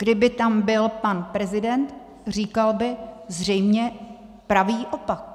Kdyby tam byl pan prezident, říkal by zřejmě pravý opak.